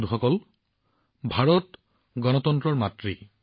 বন্ধুসকল ভাৰত গণতন্ত্ৰৰ মাতৃ